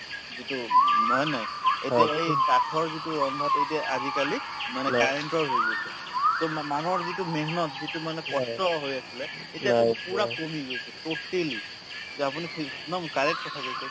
যিটো উম হয় নে নাই এতিয়া এই কাঠৰ যিটো ৰন্দাটো এতিয়া আজিকালি মানে current ৰ হৈ গৈছে to মা মানুহৰ যিটো hard work যিটো মানে কষ্ট হৈ আছিলে এতিয়া to পূৰা কমি গৈছে totally যে আপুনি correct কথা কৈছে